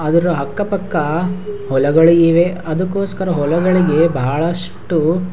ಆದರೂ ಅಕ್ಕ ಪಕ್ಕ ಹೊಲಗಳು ಇವೆ ಅದಕ್ಕೋಸ್ಕರ ಹೊಲಗಳಿಗೆ ಬಹಳಷ್ಟು --